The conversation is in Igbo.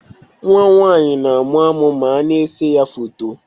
Nwa m nwaanyị na amụ amụ ma a n'ese ya foto